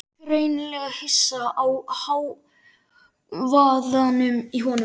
Greinilega hissa á hávaðanum í honum.